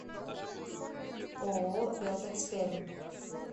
ооо веллтекспермь